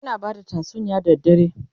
ana bada tatsuniya da dare